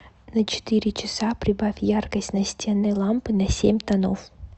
на четыре часа прибавь яркость настенной лампы на семь тонов